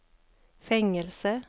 fängelse